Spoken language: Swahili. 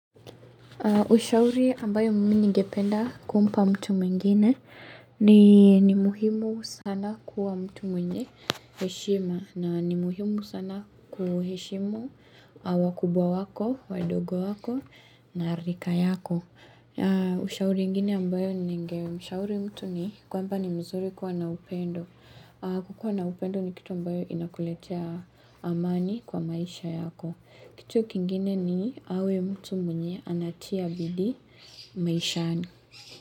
Ushauri ambayo mimi ningependa kumpa mtu mwingine ni ni muhimu sana kuwa mtu mwenye heshima na ni muhimu sana kuheshimu wakubwa wako, wadogo wako na rika yako. Ushauri ingine ambayo ningemshauri mtu ni kwamba ni mzuri kuwa na upendo. Kuwa na upendo ni kitu ambayo inakuletea amani kwa maisha yako. Kitu kingine ni awe mtu mwenye anatiabidi maishani.